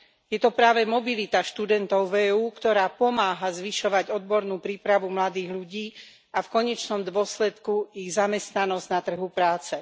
Je to práve mobilita študentov v EÚ, ktorá pomáha zvyšovať odbornú prípravu mladých ľudí a v konečnom dôsledku ich zamestnanosť na trhu práce.